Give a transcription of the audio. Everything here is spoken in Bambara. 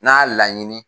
N'a laɲini